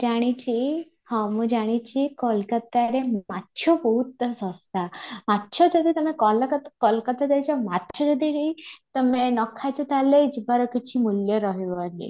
ଜାଣିଛି ହଁ ମୁଁ ଜାଣିଛି କୋଲକାତାରେ ମାଛ ବହୁତ ଶସ୍ତା, ମାଛ ଯଦି ତମେ କୋଲକାତା ଯାଇଛ ମାଛ ଯଦି ଏଠି ନ ଖାଇଛ ତମେ ତାହେଲେ ଯିବାର କିଛି ମୂଲ୍ୟ ରହିବନି